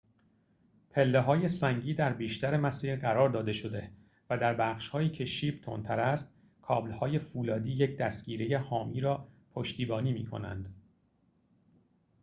پله‌های سنگی در بیشتر مسیر قرار داده شده و در بخش‌هایی که شیب تندتر است کابل‌های فولادی یک دستگیره حامی را پشتیبانی می‌کنند